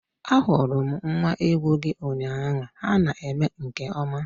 Ahurum nwa-ewu-gi ụnyaahụ ha na-eme nke ọma